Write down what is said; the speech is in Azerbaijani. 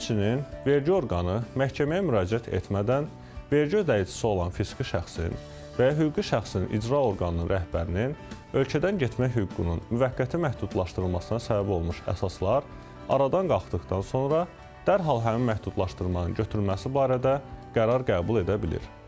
Həmçinin, vergi orqanı məhkəməyə müraciət etmədən vergi ödəyicisi olan fiziki şəxsin və ya hüquqi şəxsin icra orqanının rəhbərinin ölkədən getmək hüququnun müvəqqəti məhdudlaşdırılmasına səbəb olmuş əsaslar aradan qalxdıqdan sonra dərhal həmin məhdudlaşdırmanın götürülməsi barədə qərar qəbul edə bilir.